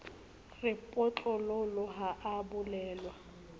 re potlololo ha a bolellwa